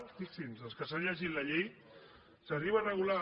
fixin s’hi els que s’hagin llegit la llei s’arriba a regular